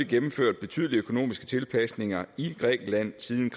gennemført betydelige økonomiske tilpasninger i grækenland siden